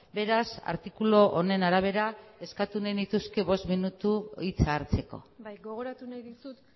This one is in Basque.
beraz artikulu honen arabera eskatu nahi nituzke bost minutu hitza hartzeko bai gogoratu nahi dizut